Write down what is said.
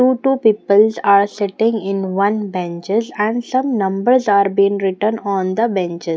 Two two peoples are sitting in one benches and some numbers are been written on the benches.